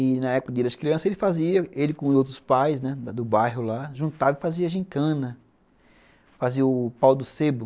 E na época da criança ele fazia, ele com os outros pais, né, do bairro lá, juntava e fazia gincana, fazia o pau do sebo.